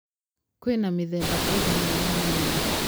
kwĩna mĩthemba ĩigana ya nyanya